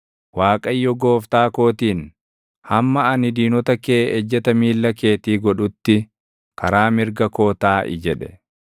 Waaqayyo, gooftaa kootiin: “Hamma ani diinota kee ejjeta miilla keetii godhutti, karaa mirga koo taaʼi” jedhe.